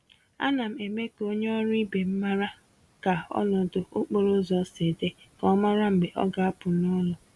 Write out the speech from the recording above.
Ánám eme k'onye ọrụ ibe m màrà ka ọnọdụ okporo ụzọ si dị, ka ọ mara mgbe ọ ga-apụ n'ụlọ.